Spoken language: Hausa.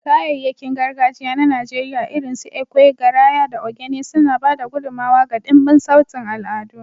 Kayayyakin gargajiya na Najeriya irinsu ekwe, garaya, da ogene suna ba da gudummawa ga dimbin sautin al'adu.